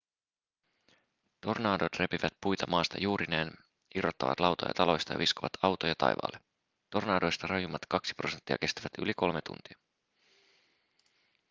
tornadot repivät puita maasta juurineen irrottavat lautoja taloista ja viskovat autoja taivaalle tornadoista rajuimmat kaksi prosenttia kestävät yli kolme tuntia